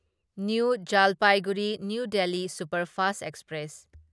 new Jalpaiguri New Delhi superfast express